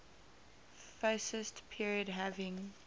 fascist period having